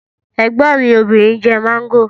Ẹ̀gbọ́n mi obìnrin ń jẹ mango